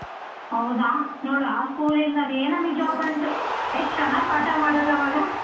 ಹೌದಾ ನೋಡ್ ಆ school ಇಂದಾನೆ ನಮಿಗ್ job ಬಂತು ಎಷ್ಟ್ ಚೆನ್ನಾಗಿ ಪಾಠ ಮಾಡೋರ್ ಆವಾಗ.